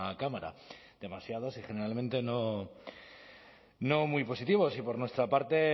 cámara demasiados y generalmente no muy positivos y por nuestra parte